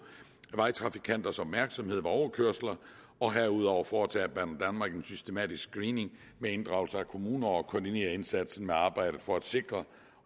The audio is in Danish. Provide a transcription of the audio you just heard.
vejtrafikanters opmærksomhed ved overkørsler og herudover foretager banedanmark en systematisk screening med inddragelse af kommuner og koordinerer indsatsen med arbejdet for at sikre